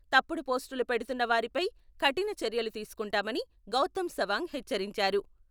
తప్పుడు పోస్టులు పెడుతున్నవారిపై కఠిన చర్యలు తీసుకుంటామని గౌతమ్ సవాంగ్ హెచ్చరించారు.